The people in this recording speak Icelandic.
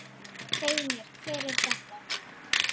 Segðu mér, hver er þetta?